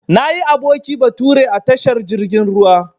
Nayi aboki bature a tashar jirgin ruwa.